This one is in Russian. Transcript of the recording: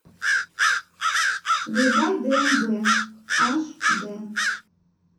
врубай дмб аш дэ